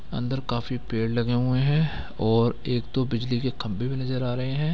अंदर काफी पेड़ लगे हुए हैं और एक दो बिजली के खंबे भी नज़र आ रहे हैं।